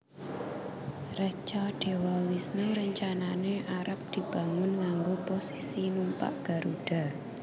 Reca Dewa Wisnu rencanane arep dibangun nganggo posisi numpak Garuda